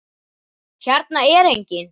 Hérna er enginn.